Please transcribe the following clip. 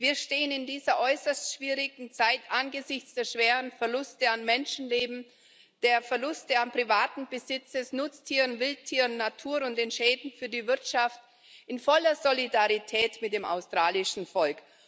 Wir stehen in dieser äußerst schwierigen Zeit angesichts der schweren Verluste an Menschenleben, der Verluste an privatem Besitz, Nutztieren, Wildtieren und Natur und der Schäden für die Wirtschaft in voller Solidarität mit dem australischen Volk.